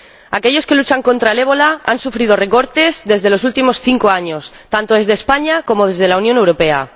Aquellos que luchan contra el ébola han sufrido recortes en los últimos cinco años, tanto desde España como desde la Unión Europea.